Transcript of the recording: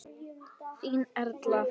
Þín Erla.